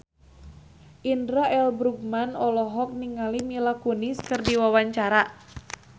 Indra L. Bruggman olohok ningali Mila Kunis keur diwawancara